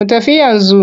Mu tafi yanzu.